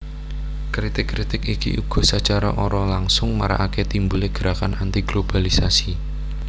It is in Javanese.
Kritik kritik iki uga sacara ora langsung marakaké timbulé gerakan antiglobalisasi